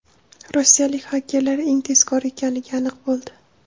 Rossiyalik xakerlar eng tezkor ekanligi aniq bo‘ldi.